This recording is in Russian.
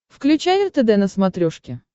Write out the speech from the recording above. включай ртд на смотрешке